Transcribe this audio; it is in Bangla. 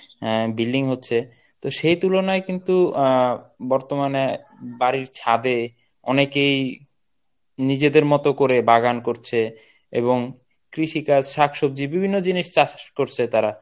হ্যাঁ building হচ্ছে সেই তুলনায় কিন্তু আহ বর্তমানে বাড়ির ছাদে অনেকেই নিজেদের মতো করে বাগান করছে এবং কৃষিকাজ শাকসবজি বিভিন্ন জিনিস চাষ করছে তারা